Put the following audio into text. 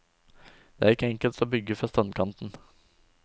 Det er ikke enkelt å bygge fra strandkanten.